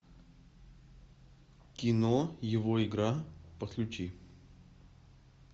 кино его игра подключи